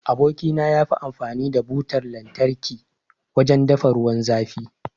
Aboki na yafi amfani da Butan lantarki wajen dafa ruwan zafi.